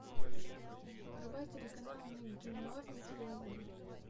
врубай телеканал ник джуниор на телевизоре